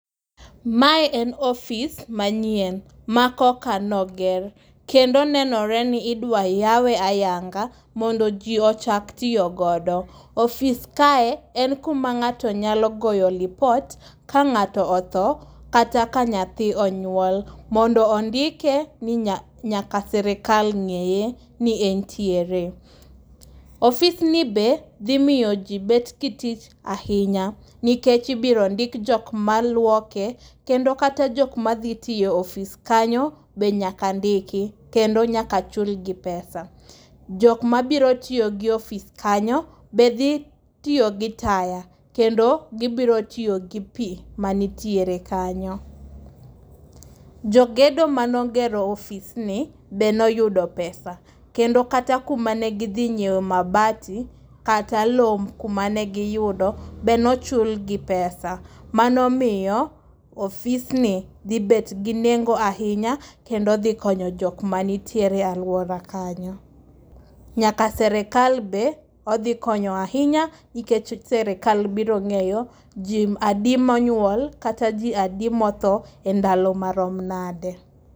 Mae en office manyien, ma koka ne oger. Kendo nenore ni idwa yawe ayanga mondo ji ochak tiyo godo. Office kae en kuma ngáto nyalo goye lipot ka ngáto otho kata ka nyathi onywol, mondo ondike ni nyaka sirkal ngéye ni entiere. Office ni be dhi miyo ji bet go tich ahinya. Nikech ibiro ndik jokma lwoke. Kendo kata jok ma dhi tiyo office kanyo be nyaka ndiki. Kendo nyaka chulgi pesa. Jok ma biro tiyo gi office kanyo, be dhi tiyo gi taya. Kendo gibiro tiyo gi pi manitiere kanyo. Jogedo mane ogero office ni be noyudo pesa. Kendo kata kuma ne gidhi nyiewo mabati, kata lowo kumane giyudo be nochul gi pesa. Mano omiyo office ni dhi bet gi nengo ahinya. Kendo dhi konyo jokma nitiere e alwora kanyo. Nyaka sirkal be odhi konyo ahinya, nikech sirkal biro ngéyo ji adi ma onyuol, kata ji adi motho e ndalo marom nade.